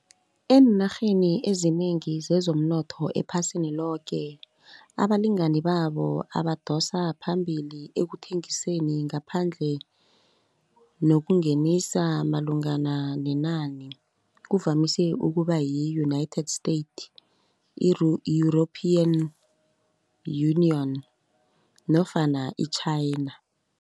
Eenarheni ezinengi zezomnotho ephasini loke, abalinganibabo abadosa phambili ekuthengiseni ngaphandle nokungenisa malungana nenani kuvamise ukuba yi-United State, i-European Union nofana i-China.